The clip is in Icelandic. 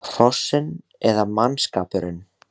Hrossin eða mannskapurinn?